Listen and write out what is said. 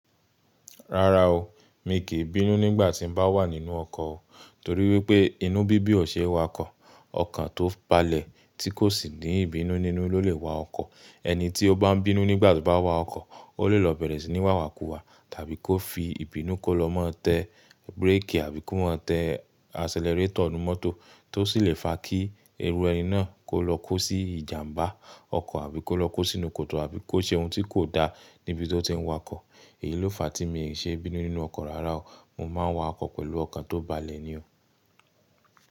Rárá o, mi kì í bínú nígbà tí n bá wà nínú ọkọ̀ o. Torí wípé inú bibi o ṣe wakọ ọkàn tó balẹ̀ tí kò sì ní ìbínú nínú ló lè wa ọkọ̀. Ẹni tí ó bá ń bínú nígbà tí ó bá a wa ọkọ̀, ó lè lọ bẹ̀rẹ̀ síi ni wàwákuwà, tàbí kó fi ìbínú kó lọ mọ́ tẹ bíréékì àbí kó mọ́ tẹ aselerétọ̀ inú mọ́tò, tó sì lè fa kí erú ẹni náà kó lọ kó sí ìjàmbá ọkọ̀, àbí kó lọ kó sínú kòtò, àbí kó ṣe ohun tí kò da níbi tó ti ń wa ọkọ̀. Èyí ló fa tí mi ò ṣe bínú nínú ọkọ̀ rárá o. Mo máa ń wa ọkọ̀ pẹ̀lú ọkàn tó balẹ̀ ni o.